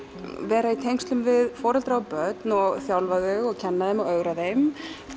vera í tengslum við foreldra og börn og þjálfa þau og kenna þeim og ögra þeim